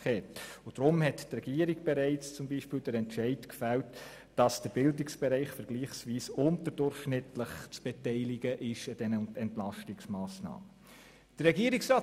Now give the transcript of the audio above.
Deswegen hat die Regierung bereits den Entscheid gefällt, dass der Bildungsbereich vergleichsweise unterdurchschnittlich an den Entlastungsmassnahmen zu beteiligen ist.